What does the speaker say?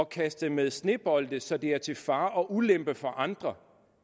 kaste med snebolde så det er til fare og ulempe for andre